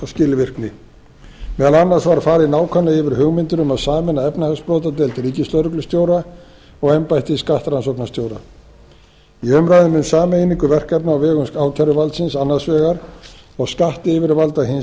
skilvirkni meðal annars var farið nákvæmlega yfir hugmyndir um að sameina efnahagsbrotadeild ríkislögreglustjóra og embætti skattrannsóknastjóra í umræðunni um sameiningu verkefna á vegum ákæruvaldsins annars vegar og skattyfirvalda hins